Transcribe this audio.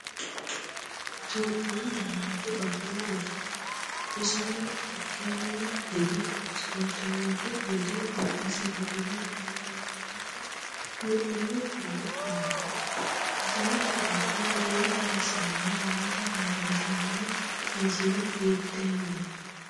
Itophiyu Malaatu Afii Roso Isino hakkaanni hige ispoortenyootu gede gobbasi riqiwe heewisamate mudhino gede kullanni, Misillate giddo giira kayissannori noota leellishshanno misile hiitten?